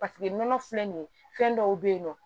Paseke nɔnɔ filɛ nin ye fɛn dɔw bɛ yen nɔ